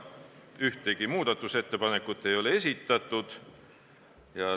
Ühtegi muudatusettepanekut ei ole esitatud.